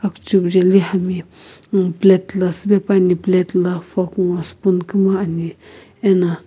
zuk jaeli plate la siipae pane plate la fork nguo spoon koina ane ana --